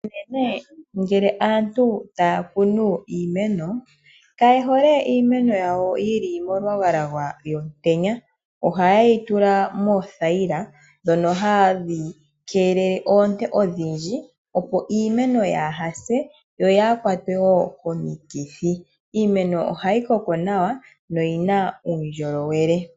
Ngele aantu taya kunu iimeno kaye hole iimeno yawo yili molwagalwaga lwomutenya ohaye yi tula moothayila ndhono hadhi keelele oonte odhindji opo iimeno yaa ha se yo yaakwatwe wo komikithi, iimeno ohayi koko nawa noyi na uundjolowele.